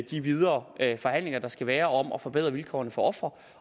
de videre forhandlinger der skal være om at forbedre vilkårene for ofre